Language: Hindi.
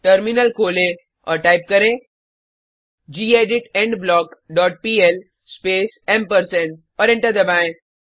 टर्मिनल खोलें और टाइप करें gedit endblock dot PL space ampersand और एंटर दबाएँ